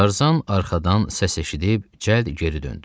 Tarzan arxadan səs eşidib cəld geri döndü.